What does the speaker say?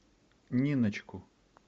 ниночку